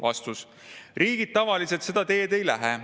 " Vastus: "Riigid tavaliselt seda teed ei lähe.